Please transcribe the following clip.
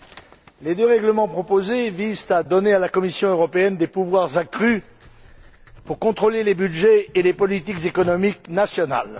Monsieur le Président, les deux règlements proposés visent à donner à la Commission européenne des pouvoirs accrus pour contrôler les budgets et les politiques économiques nationales.